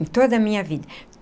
Em toda a minha vida.